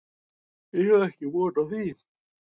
Ég á ekki von á því